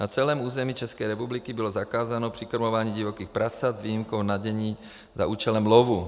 Na celém území České republiky bylo zakázáno přikrmování divokých prasat s výjimkou vnadění za účelem lovu.